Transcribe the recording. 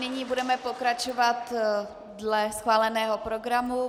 Nyní budeme pokračovat dle schváleného programu.